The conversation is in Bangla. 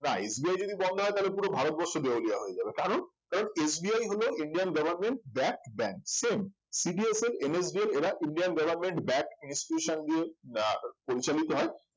তাই SBI যদি বন্ধ হয় তাহলে পুরো ভারতবর্ষ দেউলিয়া হয়ে যাবে কারণ ওই SBI হলো indian government back bank same CDSL, NSDL এরা উজ্জয়ণ government back institution দিয়ে আহ পরিচালিত হয়